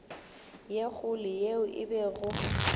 ye kgolo yeo e bego